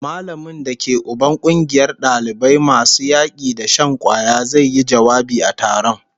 Mallamin da ke Uban kungiyar dalibai masu yaki da shan kwaya zai yi jawabi a taron